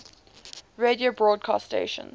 radio broadcast stations